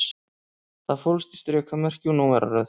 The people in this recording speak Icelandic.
Það fólst í strikamerki og númeraröð